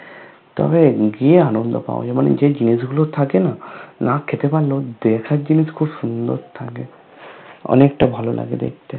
তবে গিয়ে আনন্দ পাওয়া যায় মানে যেই জিনিস গুলো থাকে না, না খেতে পারলেও দেখার জিনিস খুব সুন্দর থাকে । অনেকটা ভালো লাগে দেখতে ।